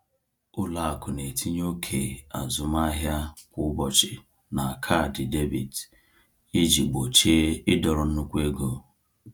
Ụlọ akụ na-etinye oke azụmahịa kwa ụbọchị na kaadị debit iji gbochie ịdọrọ nnukwu ego.